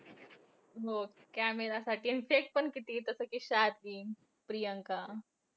हो camera साठी आणि fake पण किती जसं कि शालीन, प्रियंका.